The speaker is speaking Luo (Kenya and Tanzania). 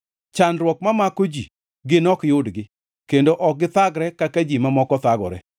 Chandruok mamako ji gin ok yudgi kendo ok githagre kaka ji mamoko thagore.